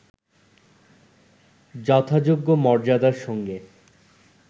যথাযোগ্য মর্যাদার সঙ্গে